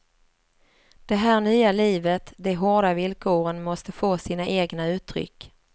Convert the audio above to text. Det här nya livet, de hårda villkoren måste få sina egna uttryck.